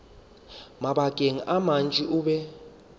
mabakeng a mantši o be